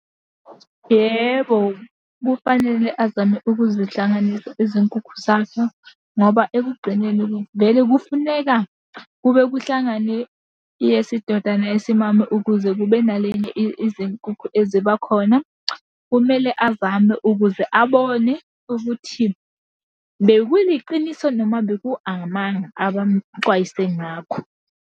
Yebo, kufanele azame ukuzihlanganisa izinkukhu zakhe, ngoba ekugcineni vele kufuneka kube kuhlangane eyesidoda neyesimame ukuze kube nalenye izinkukhu eziba khona. Kumele azame ukuze abone ukuthi bekuliqiniso noma beku amanga abamuxwayise ngakho.